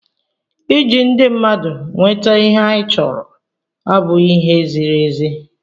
ịji ndị mmadụ nweta ihe anyị chọrọ abụghị ihe ziri ezi